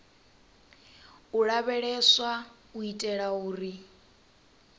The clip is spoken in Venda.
u lavheleswa u itela uri